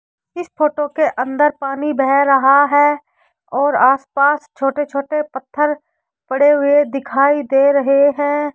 इस फोटो के अंदर पानी बह रहा है और आसपास छोटे छोटे पत्थर पड़े हुए दिखाई दे रहे हैं।